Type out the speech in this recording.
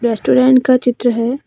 Restaurant का चित्र है।